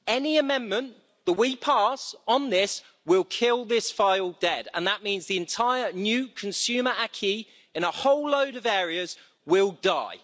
Any amendment that we pass on this will kill this file dead and that means the entire new consumer acquis in a whole load of areas will die.